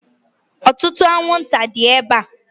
Ọtụtụ anwụnta dị ebe a.